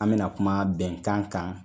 An bɛna kuma bɛnkan kan